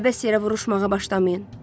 Əbəs yerə vuruşmağa başlamayın.